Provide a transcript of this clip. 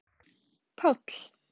Páll